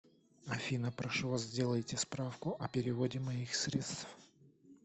афина прошу вас сделайте справку о переводе моих средств